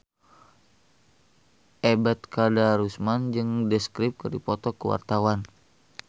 Ebet Kadarusman jeung The Script keur dipoto ku wartawan